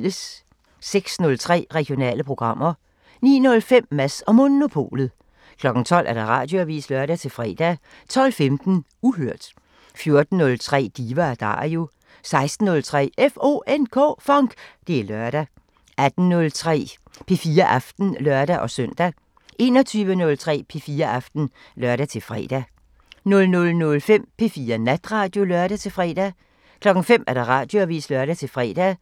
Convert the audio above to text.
06:03: Regionale programmer 09:05: Mads & Monopolet 12:00: Radioavisen (lør-fre) 12:15: Uhørt 14:03: Diva & Dario 16:03: FONK! Det er lørdag 18:03: P4 Aften (lør-søn) 21:03: P4 Aften (lør-fre) 00:05: P4 Natradio (lør-fre) 05:00: Radioavisen (lør-fre)